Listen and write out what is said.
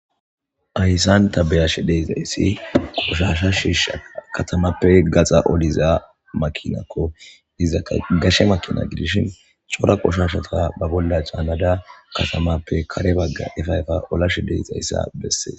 Hayssan ta beyashe deexayssi qoshasha shiisha katamappe gaxa oliza makinakko diza agashe makina gidish cora qoshashata ba bolla caanada katamappe kare bagga efayfa olashe deixayssa bessees